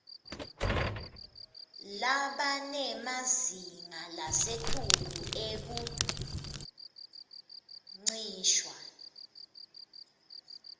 labanemazinga lasetulu ekuncishwa